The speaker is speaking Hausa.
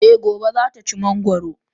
Eh Gobe ​​zata ci mangoro.